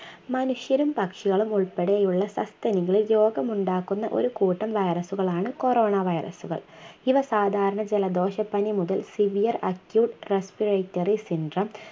മനുഷ്യരും പക്ഷികളും ഉൾപ്പെടെയുള്ള സസ്തനികളിൽ രോഗമുണ്ടാക്കുന്ന ഒരു കൂട്ടം virus കളാണ് corona virus കൾ ഇവ സാധാരണ ജലദോഷപ്പനി മുതൽ Severe Acute Respiratary Sindrome